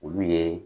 Olu ye